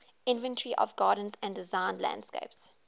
inventory of gardens and designed landscapes